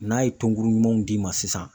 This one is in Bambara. N'a ye tɔnkuru ɲumanw d'i ma sisan